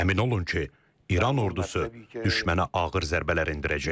Əmin olun ki, İran ordusu düşmənə ağır zərbələr endirəcək.